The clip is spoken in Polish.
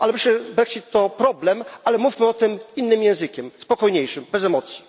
Myślę, że Brexit to problem, ale mówmy o tym innym językiem, spokojniejszym, bez emocji.